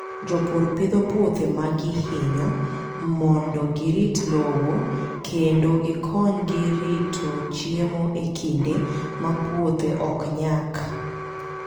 Jopur pidho puothe ma gihinyo mondo girit lowo kendo gikonygi rito chiemo e kinde ma puothe ok nyak.